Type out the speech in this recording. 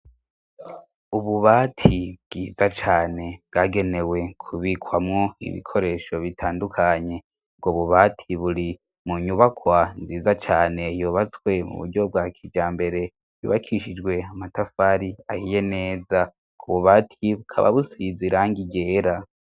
Ububati bwiza cane bwagenewe kubikwamwo ibikoresho bitandukanye, ubwo bubati buri mu nyubakwa nziza cane, yubatswe mu buryo bwa kijambere, yubakishijwe amatafari ahiye neza, ubwo bubati bukaba busize irangi ryera.